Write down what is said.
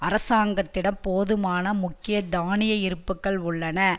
அரசாங்கத்திடம் போதுமான முக்கிய தானிய இருப்புக்கள் உள்ளன